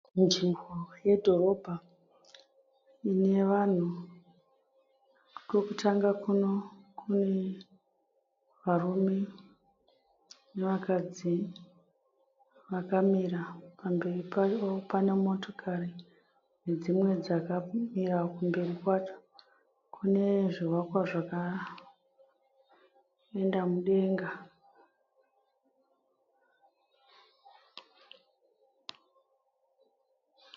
Nzvimbo yedhorobha inevanhu. Kokutanga kuno kunevarume nevakadzi vakamira. Pamberi pavo pane motokari nedzimwe dzakamira. Kumberi kwacho kune zvivakwa zvakaenda mudenga.